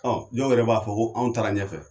Ɔ jɔw yɛrɛ b'a fɔ ko anw taara ɲɛfɛ